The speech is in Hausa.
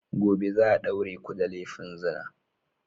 Gobe za a daure ku da laifin zina!